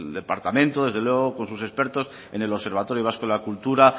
departamento desde luego con sus expertos en el observatorio vasco de la cultura